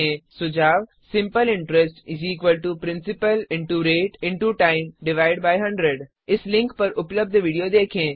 सुझाव simple interest principal rate time 100 इस link पर उपलब्ध विडियो देखें httpspoken tutorialorgWhat इस आ स्पोकेन ट्यूटोरियल